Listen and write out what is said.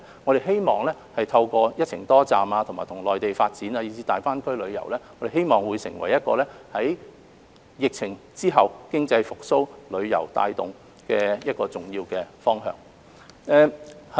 我們希望透過"一程多站"，與內地發展，以至大灣區旅遊，希望成為疫情後帶動經濟復蘇的一個重要方向。